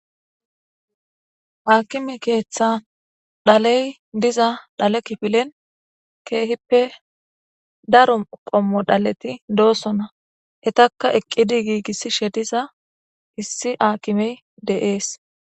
Aakime keeththa dhaley diza dhale kifilen keehippe daru qommo dhaleti doossona hetaka eqqidi giigissishe diza issi aakimey de7ees.